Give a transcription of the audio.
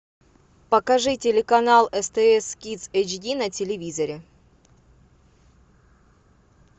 покажи телеканал стс кидс эйч ди на телевизоре